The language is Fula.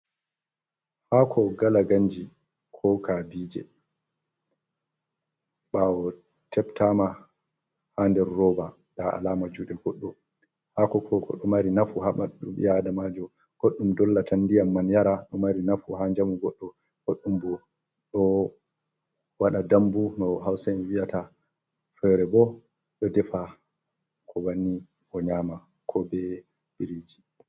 Haako gala ganji ko kabije ɓawo tebtama ha nder roba nda alama juɗe goɗɗo. Haako ko koɗo mari nafu ha bandu ɓi Adamajo. Goɗɗum dollan tan ndiyam man yara ɗo mari nafu ha njamu goɗɗo goɗɗum bo ɗo waɗa dambu no hausa'en vi'ata fere bo ɗo defa ko bannin ɓe nyama ko be biriji.